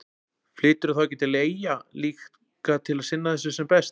Flyturðu þá ekki til eyja líka til að sinna þessu sem best?